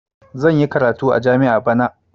Zan yi karatu a jami'a bana.